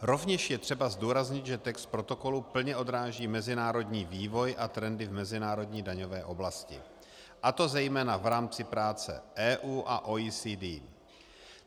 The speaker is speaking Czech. Rovněž je třeba zdůraznit, že text protokolu plně odráží mezinárodní vývoj a trendy v mezinárodní daňové oblasti, a to zejména v rámci práce EU a OECD.